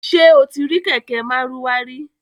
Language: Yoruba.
Ṣé o ti rí kẹ̀kẹ́ Márúwá rí?